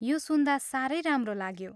यो सुन्दा साह्रै राम्रो लाग्यो।